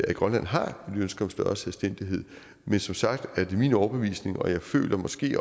at grønland har nye ønsker om større selvstændighed men som sagt er det min overbevisning og jeg føler måske